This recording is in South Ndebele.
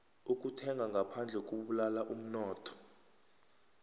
ukuthenga ngaphandle kubulala umnotho